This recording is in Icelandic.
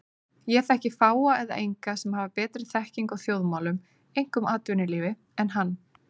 Ég þekki fáa eða enga sem hafa betri þekkingu á þjóðmálum, einkum atvinnulífi, en hann.